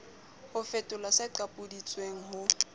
ho fetola se qapodisitsweng ho